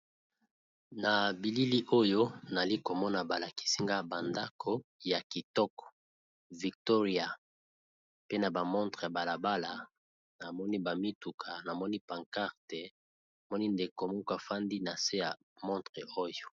Na bilili oyo nazali komona balakisinga bandako ya kitoko ekomami Kikolo « victoria mall »pe na ba montre. Na balabala namoni ba mituka namoni pancarte moni ndeko moko afandi na se ya montre oyo.